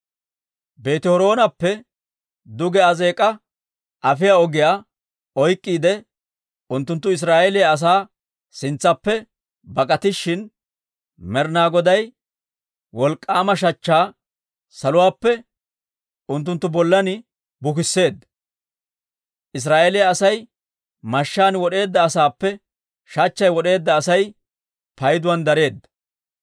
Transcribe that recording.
Beeti-Horoonappe duge Azeek'a afiyaa ogiyaa oyk'k'iide unttunttu Israa'eeliyaa asaa sintsaappe bak'atishin, Med'ina Goday wolk'k'aama shachchaa saluwaappe unttunttu bollan bukisseedda. Israa'eeliyaa Asay mashshaan wod'eedda asaappe, shachchay wod'eedda Asay payduwaan dareedda.